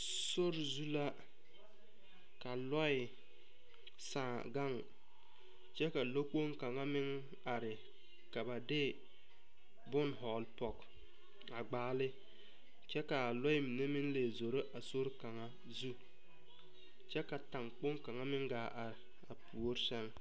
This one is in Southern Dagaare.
Sori zu la ka lɔe saaŋ gaŋ. Kyɛ ka lɔ kpong kanga meŋ are ka ba de boŋ vogle pɔg a gbaale kyɛ ka a lɔe mene meŋ le zoro a sori kanga zu. Kyɛ ka taŋ kponga meŋ gaa are a poore sɛŋ.